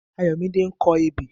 Ayomide ń kọ ebè